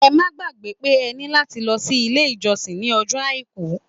Ẹ má gbàgbẹ́ pé ẹ ní láti lọ sí ilé-ìjọsìn ní ọjọ́ Àìkú.